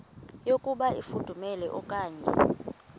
yokuba ifudumele okanye